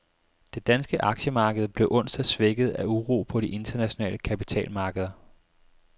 Det danske aktiemarked blev onsdag svækket af uro på de internationale kapitalmarkeder.